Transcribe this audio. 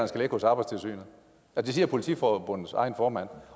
skal ligge hos arbejdstilsynet det siger politiforbundets egen formand